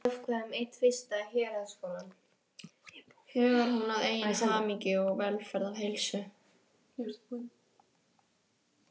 Hugar hún að eigin hamingju, velferð og heilsu?